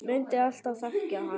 Mundi alltaf þekkja hann.